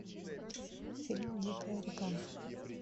фильм дикая река